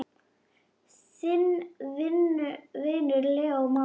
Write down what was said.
Þinn vinur, Leó Már.